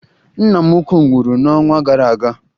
Nna m ukwuu nwụrụ n'ọnwa gara aga